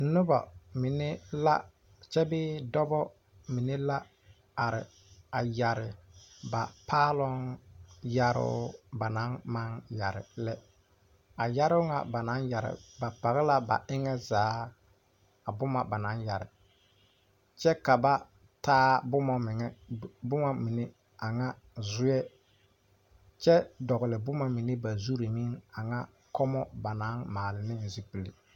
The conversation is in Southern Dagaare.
Nobɔ mine la kyɛ bee dɔbɔ mine la are a yɛre ba paaloŋ yɛroo ba naŋ maŋ yɛre lɛ a yɛroo ŋa ba naŋ yɛre ba pɔg la ba eŋɛ zaa a boma ba naŋ yɛre kyɛ ka ba taa boma meŋɛ boma mine a ŋa zuɛ kyɛ dɔgle boma mine ba zurre meŋ a ŋa kɔɔmɔ ba naŋ maale ne zupile.